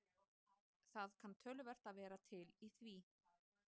Það kann töluvert að vera til í því.